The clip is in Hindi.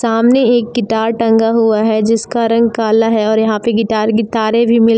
सामने एक गिटार टंगा हुआ है जिसका रंग काला है और यहां पे गिटार की तारें भी मिल --